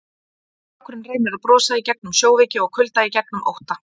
Strákurinn reynir að brosa í gegnum sjóveiki og kulda, í gegnum ótta.